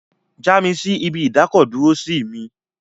Já mi sí ibi ìdákọ̀-dúró sí mi!